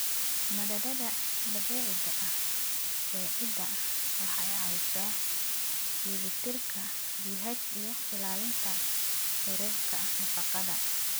Maaddada dabiiciga ah ee ciidda waxay caawisaa dheellitirka pH iyo ilaalinta heerarka nafaqada.